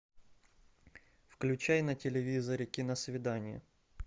включай на телевизоре киносвидание